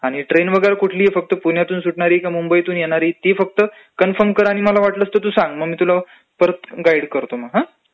आणि ट्रेन फक्त कुठली पुण्यातुन सुटणारी का मुंबईतून योणारी ती फक्त कन्फर्म कर आणि मग मला वाटलसं तर फोन कर. फक्त तू मला सांग मग मी तुला परत गाइड करतो. हा..